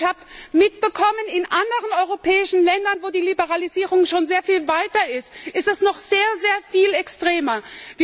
Und ich habe mitbekommen, dass in anderen europäischen Ländern wo die Liberalisierung schon viel weiter ist es noch sehr sehr viel extremer ist.